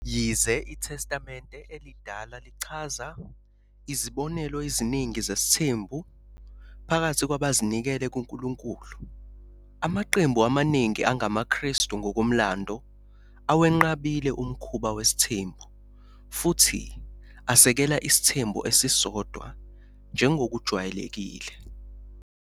Yize iTestamente Elidala lichaza izibonelo eziningi zesithembu phakathi kwabazinikele kuNkulunkulu, amaqembu amaningi angamaKristu ngokomlando awenqabile umkhuba wesithembu futhi asekele isithembu esisodwa njengokujwayelekile.